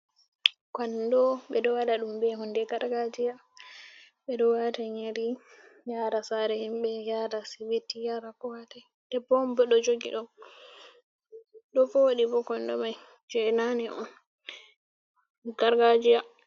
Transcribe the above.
Kondo ɓe ɗo waɗa ɗum be hunde gargajiya. Ɓe ɗo wata nyiri yasra saare himɓe ,yaara sibiti yara ko hatoi debbo on ɗo jogi ɗum ɗo voɗi bo, kondo mai jei naane on gargajiya.